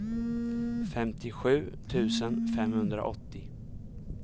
femtiosju tusen femhundraåttio